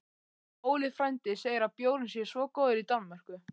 Óli frændi segir að bjórinn sé svo góður í Danmörku